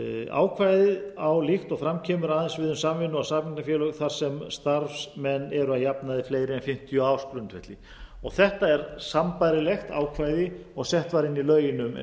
ákvæðið á líkt og fram kemur aðeins við um samvinnu og samheitafélög þar sem starfsmenn eru að jafnaði fleiri en fimmtíu á ársgrundvelli þetta er sambærilegt ákvæði og sett var inn í lögin um